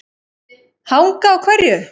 Hanga á hverju?